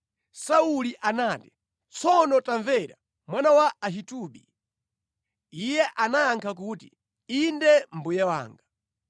Sauli anati, “Tsono tamvera, mwana wa Ahitubi.” Iye anayankha kuti, “Inde mbuye wanga.”